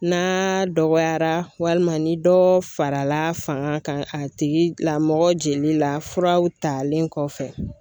N'a dɔgɔyara walima ni dɔ farala fanga kan a tigi lamɔgɔ jeli la furaw talen kɔfɛ.